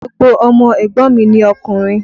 Gbogbo ọmọ ẹ̀gbọ́n mi ni okùnrin.